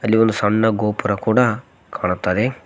ಅಲ್ಲಿ ಒಂದು ಸಣ್ಣ ಗೋಪುರ ಕೂಡ ಕಾಣ್ತದೆ.